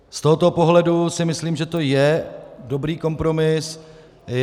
Z tohoto pohledu si myslím, že to je dobrý kompromis.